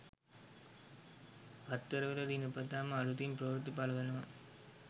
පත්තරවල දිනපතාම අලුතින් ප්‍රවෘත්ති පළවෙනවා